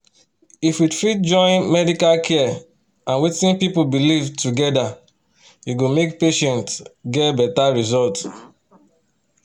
if we fit join medical care and wetin people believe together e go make patients get better result.